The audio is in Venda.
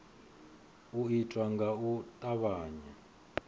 u itwa nga u tavhanya